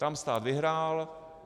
Tam stát vyhrál.